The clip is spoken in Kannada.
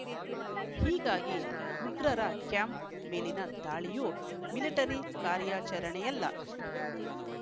ಹೀಗಾಗಿ ಉಗ್ರರ ಕ್ಯಾಂಪ್‌ ಮೇಲಿನ ದಾಳಿಯು ಮಿಲಿಟರಿ ಕಾರ್ಯಾಚರಣೆಯಲ್ಲ